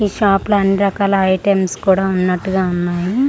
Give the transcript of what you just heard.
ఈ షాప్ లో అన్నీ రకాల ఐటమ్స్ కూడా ఉన్నటుగా ఉన్నాయి అలా--